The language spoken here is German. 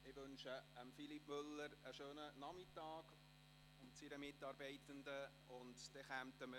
Ich wünsche Philippe Müller und seiner Mitarbeitenden einen schönen Nachmittag.